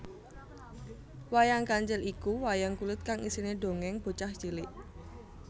Wayang Kancil iku wayang kulit kang isine dongeng bocah cilik